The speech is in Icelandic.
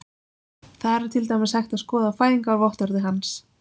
Þar er til dæmis hægt að skoða fæðingarvottorðið hans.